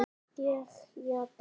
Ég játa.